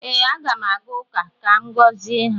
Ee, Aga m aga ụka ka m gọzie ha